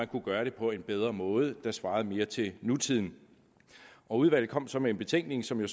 kunne gøre det på en bedre måde der svarede mere til nutiden udvalget kom så med en betænkning som jo